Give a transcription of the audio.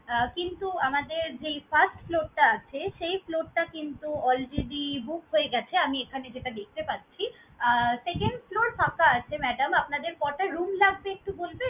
অ্যাঁ কিন্তু আমাদের যেই first floor টা আছে, সেই floor টা কিন্তু already booked হয়ে গেছে আমি এখানে যেটা দেখতে পাচ্ছি। আহ second floor ফাঁকা আছে madam আপনাদের কয়টা room লাগবে একটু বলবেন?